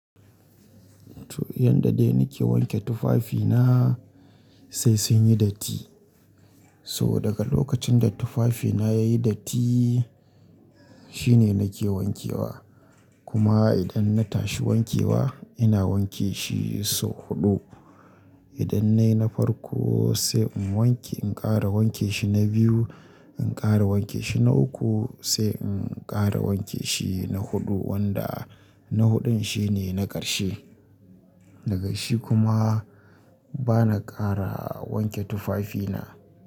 To, yadda dai nike wanke tufafina sai sun yi datti. So daga lokacin da tufafina yayi datti shine nake wankewa. Kuma idan na tashi wankewa ina wanke shi sau huɗu. Idan nayi na farko sai in wanke, in ƙara wanke shi na biyu, in ƙara wanke shi na uku sai in ƙara wanke shi na huɗu wanda na huɗun shine na ƙarshe. Daga shi kuma bana ƙara wanke tufafina.